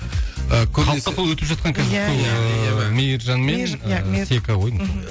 халыққа сол өтіп жатқан қазір сол ыыы мейіржан мен сека ғой деймін